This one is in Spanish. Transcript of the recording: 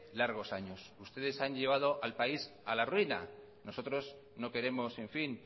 largos años ustedes han llevado al país a la ruina nosotros no queremos en fin